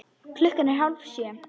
Klukkan er hálf sjö.